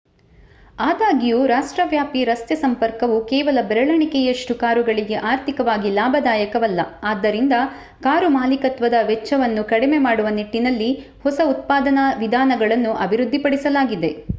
ಆದಾಗ್ಯೂ ರಾಷ್ಟ್ರವ್ಯಾಪಿ ರಸ್ತೆ ಸಂಪರ್ಕವು ಕೇವಲ ಬೆರಳೆಣಿಕೆಯಷ್ಟು ಕಾರುಗಳಿಗೆ ಆರ್ಥಿಕವಾಗಿ ಲಾಭದಾಯಕವಲ್ಲ ಆದ್ದರಿಂದ ಕಾರು ಮಾಲೀಕತ್ವದ ವೆಚ್ಚವನ್ನು ಕಡಿಮೆ ಮಾಡುವ ನಿಟ್ಟಿನಲ್ಲಿ ಹೊಸ ಉತ್ಪಾದನಾ ವಿಧಾನಗಳನ್ನು ಅಭಿವೃದ್ಧಿಪಡಿಸಲಾಗಿದೆ